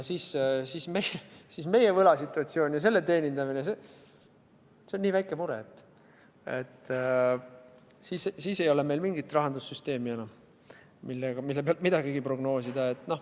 Meie võlasituatsioon ja selle teenindamine on nii väike mure, et siis ei ole meil mingit rahandussüsteemi enam, mille pealt midagigi prognoosida.